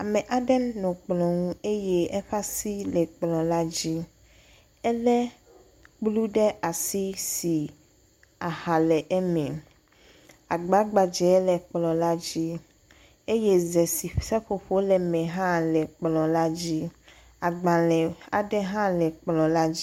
Ame aɖe nɔ kplɔ nu eye eƒe asi kplɔ la dzi. Èle kplu ɖe asi si aha le eme. Agba gbadze le kplɔ la dzi eye ze si seƒoƒo le eme la hã le kplɔ la dzi. Agblẽ aŋe hã le kplɔ la dzi.